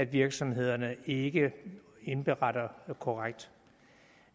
virksomhederne ikke indberetter korrekt